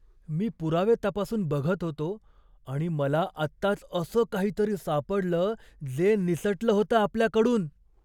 मी पुरावे तपासून बघत होतो आणि मला आत्ताच असं काहीतरी सापडलं जे निसटलं होतं आपल्याकडून!